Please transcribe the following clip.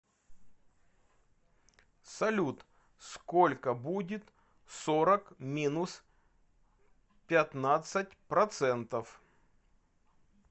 салют сколько будет сорок минус пятьнадцать процентов